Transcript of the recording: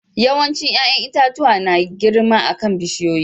Yawancin yayan itatuwa na girma akan bishiyoyi.